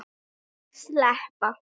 Engin skúra- eða éljaský hafa sést.